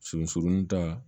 Sunsurunnu ta